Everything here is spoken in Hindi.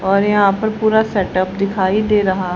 और यहां पर पूरा सेटअप दिखाई दे रहा--